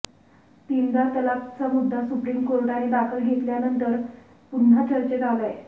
तीनदा तलाकचा मुद्दा सुप्रीम कोर्टाने दखल घेतल्यानंतर पुन्हा चर्चेत आलाय